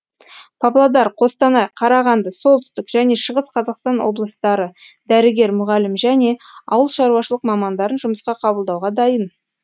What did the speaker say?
павлодар қостанай қарағанды солтүстік және шығыс қазақстан облыстары дәрігер мұғалім және ауыл шаруашылық мамандарын жұмысқа қабылдауға дайын